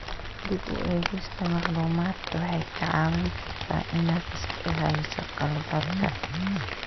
Dib u eegista macluumaadka waxay kaa caawin kartaa inaad iska ilaaliso khaladaadka.